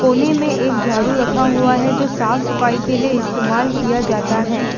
कोने में एक झाड़ू रखा हुआ है जो साफ सफाई के लिए इस्तेमाल किया जाता हैं।